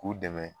K'u dɛmɛ